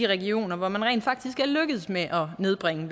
regioner hvor man rent faktisk er lykkedes med at nedbringe